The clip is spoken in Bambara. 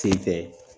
Sen fɛ